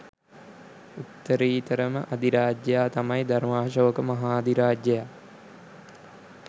උත්තරීතරම අධිරාජයා තමයි ධර්මාශෝක මහාධිරාජයා.